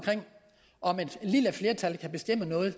om et lille flertal kan bestemme noget